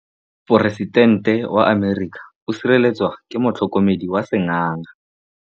Poresitêntê wa Amerika o sireletswa ke motlhokomedi wa sengaga.